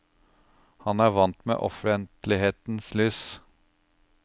Han er vant med offentlighetens lys.